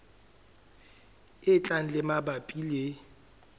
e tlang tse mabapi le